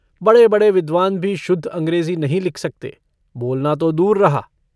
बड़े-बड़े विद्वान भी शुद्ध अंग्रेजी नहीं लिख सकते, बोलना तो दूर रहा।